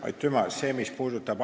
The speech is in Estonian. Aitüma!